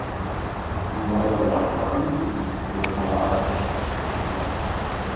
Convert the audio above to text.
Hún varð að varpa öndinni yfir að hafa aðrar eins fréttir að færa.